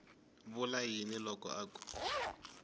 vula yini loko a ku